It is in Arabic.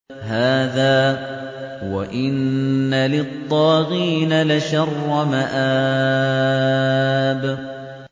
هَٰذَا ۚ وَإِنَّ لِلطَّاغِينَ لَشَرَّ مَآبٍ